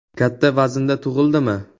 Katta vaznda tug‘ildimi?